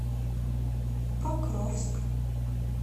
покровск